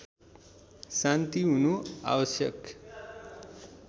शान्ति हुनु आवश्यक